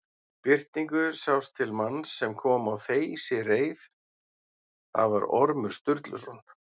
Í birtingu sást til manns sem kom á þeysireið, það var Ormur Sturluson.